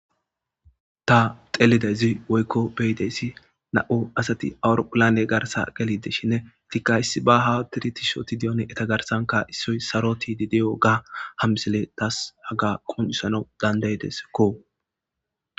Ta xelide zi woykko beyideyssi na7u asati awuro pulane garsa gelideshinne itikka issi ba ha tirtishoti diyon eta garsanka issoy saroti di deyo ga hamsele taas haga qonisana dandayideskko.